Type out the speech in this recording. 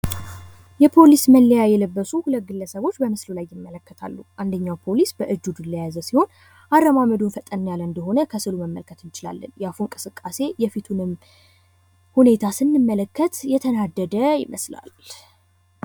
የፖሊስ መለያ የለበሱ 2 ግለሰቦች በምስሉ ላይ ይመለከታሉ። አንደኛው ፖሊስ በእጁ ዱላ የያዘ ሲሆን፤ አረማመዱ ፈጠን ያለ እንደሆነ ከሥዕሉ መመልከት እንችላለን። የአፉ እንቅስቃሴ የፊቱንም ሁኔታ ስንመለከት እየተናደደ ይመስላል።